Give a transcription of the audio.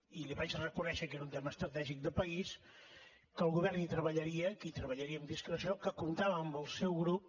i li vaig reconèixer que era un tema estratègic de país que el govern hi treballaria que hi treballaria amb discreció que comptava amb el seu grup